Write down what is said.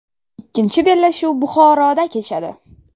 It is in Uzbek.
Ikkinchi bellashuv Buxoroda kechadi.